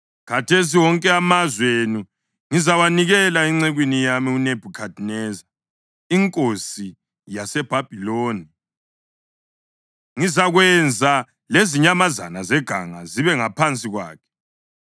Khathesi wonke amazwe enu ngizawanikela encekwini yami uNebhukhadineza inkosi yaseBhabhiloni, ngizakwenza lezinyamazana zeganga zibe ngaphansi kwakhe.